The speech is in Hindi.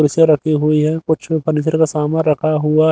कुर्सिया रखी हुई है कुछ फर्नीचर का सामान रखा हुआ--